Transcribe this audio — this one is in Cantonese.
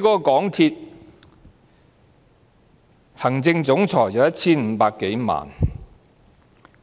港鐵行政總裁年薪 1,500 多萬元，